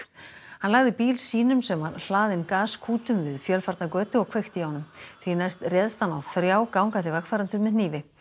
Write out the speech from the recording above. hann lagði bíl sínum sem var hlaðinn gaskútum við fjölfarna götu og kveikti í honum því næst réðst hann á þrjá gangandi vegfarendur með hnífi